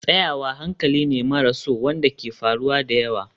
Tsayawa hankali ne maras so wanda ke faruwa da yawa.